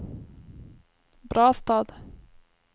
Brastad